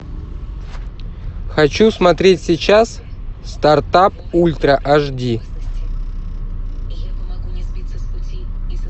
хочу смотреть сейчас стартап ультра аш ди